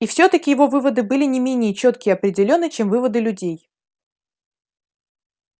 и всё-таки его выводы были не менее чётки и определённы чем выводы людей